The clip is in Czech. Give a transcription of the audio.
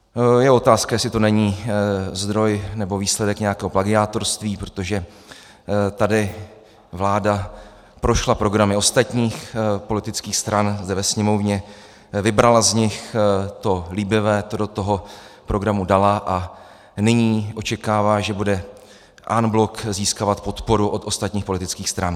Je otázka, jestli to není zdroj nebo výsledek nějakého plagiátorství, protože tady vláda prošla programy ostatních politických stran zde ve Sněmovně, vybrala z nich to líbivé, to do toho programu dala a nyní očekává, že bude en bloc získávat podporu od ostatních politických stran.